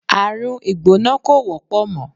Àrùn ìgbóná kò wọ́pọ̀ mọ́.